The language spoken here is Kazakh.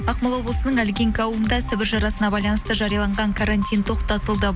ақмола облысының ольгинка ауылында сібір жарасына байланысты жарияланған карантин тоқтатылды